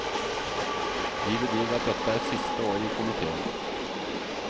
De bedyrer at dette er siste året i komiteen.